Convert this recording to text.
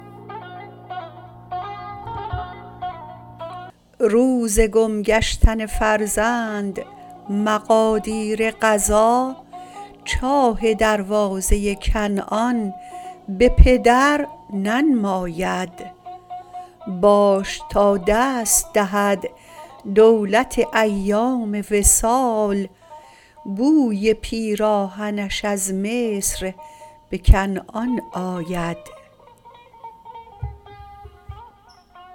روز گم گشتن فرزند مقادیر قضا چاه دروازه کنعان به پدر ننماید باش تا دست دهد دولت ایام وصال بوی پیراهنش از مصر به کنعان آید